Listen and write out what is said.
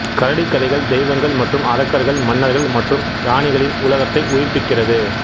கரடி கதைகள் தெய்வங்கள் மற்றும் அரக்கர்கள் மன்னர்கள் மற்றும் இராணிகளின் உலகத்தை உயிர்ப்பிக்கிறது